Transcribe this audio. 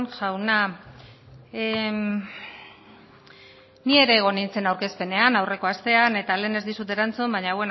jauna ni ere egon nintzen aurkezpenean aurreko astean eta lehen ez dizut erantzun baina